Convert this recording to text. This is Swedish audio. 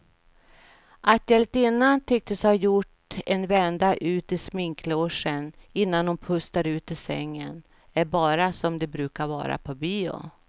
Att hjältinnan tycks ha gjort en vända ut i sminklogen innan hon pustar ut i sängen är bara som det brukar vara på bio.